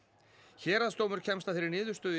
héraðsdómur kemst að þeirri niðurstöðu